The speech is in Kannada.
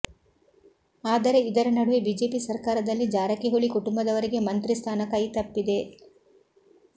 ಆದರೆ ಇದರ ನಡುವೆ ಬಿಜೆಪಿ ಸರ್ಕಾರದಲ್ಲಿ ಜಾರಕಿಹೊಳಿ ಕುಟುಂಬದವರಿಗೆ ಮಂತ್ರಿ ಸ್ಥಾನ ಕೈತಪ್ಪಿದೆ